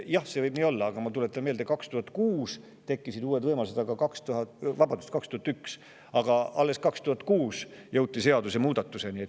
Jah, see võib nii olla, aga ma tuletan meelde, et 2001. aastal tekkisid uued võimalused, aga alles 2006. aastal jõuti seadusemuudatuseni.